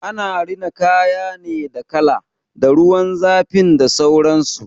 Ana rina kaya ne da kala, da ruwan zafin da sauransu.